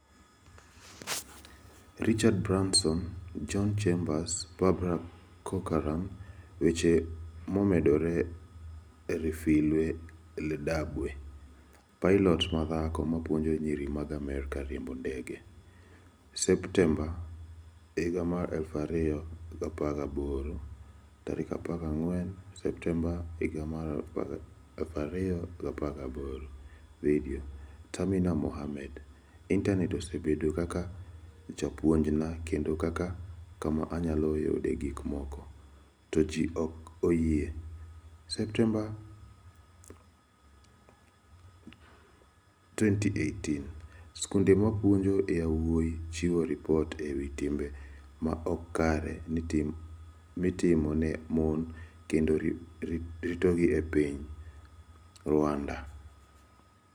Richard Branson John Chambers Barbara Corcoran Weche Momedore Refilwe Ledabwe: Pilot ma dhako mapuonjo nyiri mag Afrika riembo ndege25 Septemba 2018 14 Septemba 2018 Vidio, Tamima Mohammed: Intanet osebedo kaka japuonjna kendo kaka kama anyalo yudee gik moko, to ji ok oyie12 Septemba 2018 Skunde mapuonjo yawuowi chiwo ripot e wi timbe ma ok kare mitimo ne mon kendo ritogi e piny Rwanda26 Septemba, 2018 Wach maduong' Bobi Wine 'oluoro ngimane' UgandaSa 4 mokalo Joma tiyo gi Instagram kwedo sirkal mar IranSa 4 mokalo Ywaruok e piny Darfur nego ji 48Sa 6 mokalo Mbaka e IntanetJosayans ofwenyo gik ma chon ahinya mag dhano e piny TanzaniaSa 15 Januar, 2021 North Korea oloso misil manyien 'ma tekone ng'eny moloyo e piny'Sa 15 Januar, 2021 Taliban chiko jotendgi ni kik gidonj e kend mang'enySa 15 Januar, 2021 Sirkal ogoyo marfuk e weche tudruok e intanetSa 15 Januar, 2021 Ja - Australia onego Ja - Amerka moro ma ne 'ok oluwo chike mag Corona'Sa 15 Januar, 2021 14 Januar 2021 Ang'o mabiro timore bang' yiero mar Uganda? 14 Januar 2021 Gima Ji Ohero Somo 1 Kaka Ponografi Noloko Ngima Nyako Moro 2 Ang'o Momiyo Diamond Platinumz Nono Ji Ahinya e YouTube?